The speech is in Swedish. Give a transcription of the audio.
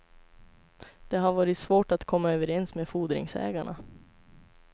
Det har varit svårt att komma överens med fordringsägarna.